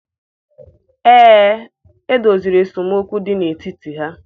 Ee, e doziri esemokwu dị n'etiti ha.